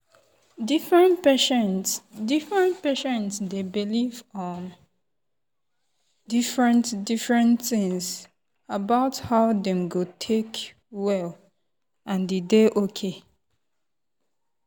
different patient different patient dey believe um different-different things about how dem go take well and e dey okay.